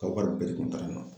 Ka wari bɛɛ kun taara